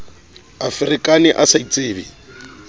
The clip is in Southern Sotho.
a ferekane a sa itsebe